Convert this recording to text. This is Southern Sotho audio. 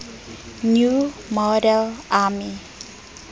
new model army